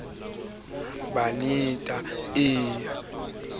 ho shejwana ka la moleka